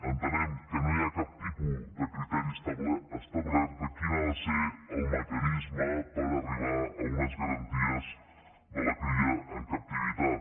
entenem que no hi ha cap tipus de criteri establert de quin ha de ser el mecanisme per arribar a unes garanties de la cria en captivitat